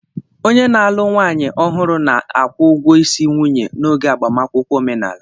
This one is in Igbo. Onye na-alụ nwaanyị ọhụrụ na-akwụ ụgwọ isi nwunye n'oge agbamakwụkwọ omenaala